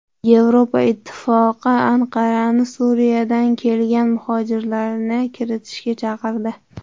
Yevropa Ittifoqi Anqarani Suriyadan kelgan muhojirlarni kiritishga chaqirdi.